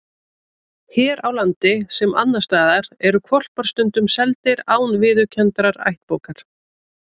Hér á landi, sem annars staðar, eru hvolpar stundum seldir án viðurkenndrar ættbókar.